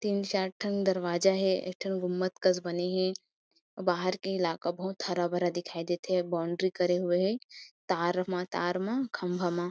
तीन चार ठन दरवाजा हे एक ठन गुम्बद कस बने हे अऊ बाहर के इलाका बहुत हरा-भरा दिखाई देथे अऊ बाउंड्री करे हुए हे तार म तार मा खम्भा म--